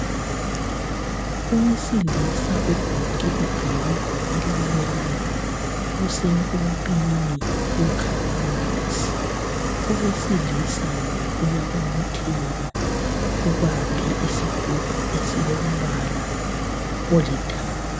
Owesilisa ogqoke ibhulugwa elimnyama usempompini ukha amanzi. Owesilisa lo uyabobotheka ubambe isigubhu esilombala olithanga.